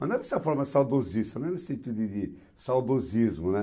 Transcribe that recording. Mas não é dessa forma saudosista, não é nesse sentido de de saudosismo, né?